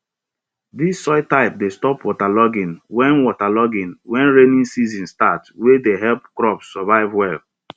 dis soil type dey stop waterlogging when waterlogging when rainy season start wey dey help crops survive well